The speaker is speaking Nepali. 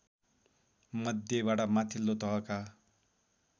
मध्येबाट माथिल्लो तहका